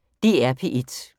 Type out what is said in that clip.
DR P1